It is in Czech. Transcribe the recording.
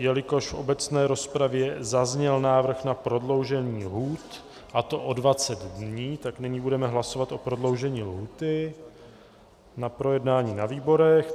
Jelikož v obecné rozpravě zazněl návrh na prodloužení lhůt, a to o 20 dní, tak nyní budeme hlasovat o prodloužení lhůty na projednání na výborech.